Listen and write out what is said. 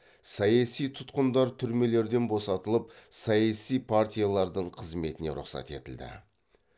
саяси тұтқындар түрмелерден босатылып саяси партиялардың қызметіне рұқсат етілді